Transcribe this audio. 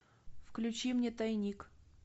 включи мне тайник